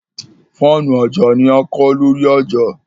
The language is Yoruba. Fáànù ajá ní a kọ́ lórí ajá